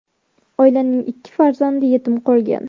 Oilaning ikki farzandi yetim qolgan.